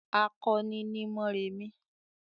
"Akọni ni Mórèmí!"